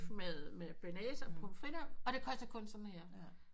Med bearnaise og pommes frites og det koster kun sådan her